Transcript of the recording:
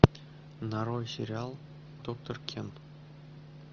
нарой сериал доктор кен